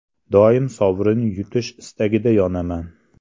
Doim sovrin yutish istagida yonaman.